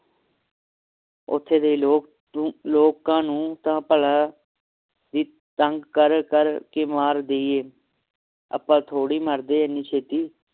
ਓਥੇ ਦੇ ਲੋਕ ਲੋਕਾਂ ਨੂੰ ਤਾ ਭਲਾ ਅਸੀਂ ਤੰਗ ਕਰ ਕਰ ਕੇ ਮਾਰ ਦੀਏ ਆਪਾਂ ਥੋੜੀ ਮਰਦੇ ਹਨੀ ਛੇਤੀ